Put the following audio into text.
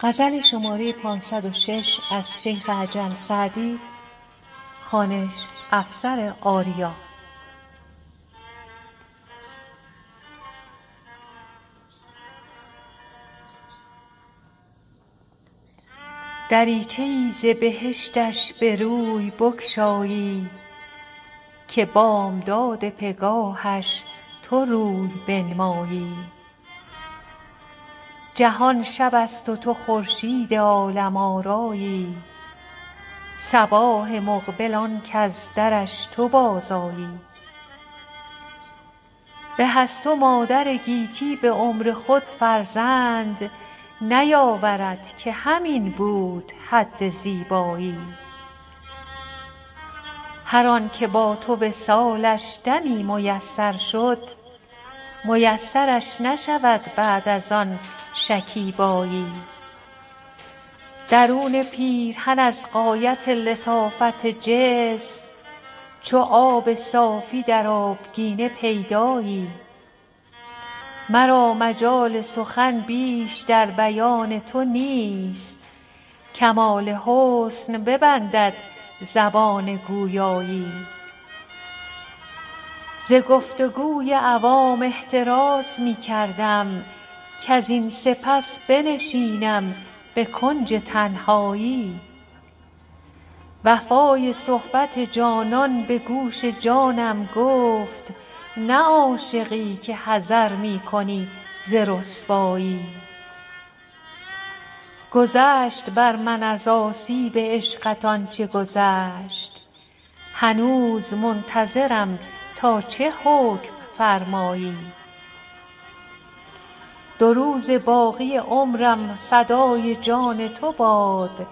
دریچه ای ز بهشتش به روی بگشایی که بامداد پگاهش تو روی بنمایی جهان شب است و تو خورشید عالم آرایی صباح مقبل آن کز درش تو بازآیی به از تو مادر گیتی به عمر خود فرزند نیاورد که همین بود حد زیبایی هر آن که با تو وصالش دمی میسر شد میسرش نشود بعد از آن شکیبایی درون پیرهن از غایت لطافت جسم چو آب صافی در آبگینه پیدایی مرا مجال سخن بیش در بیان تو نیست کمال حسن ببندد زبان گویایی ز گفت و گوی عوام احتراز می کردم کزین سپس بنشینم به کنج تنهایی وفای صحبت جانان به گوش جانم گفت نه عاشقی که حذر می کنی ز رسوایی گذشت بر من از آسیب عشقت آن چه گذشت هنوز منتظرم تا چه حکم فرمایی دو روزه باقی عمرم فدای جان تو باد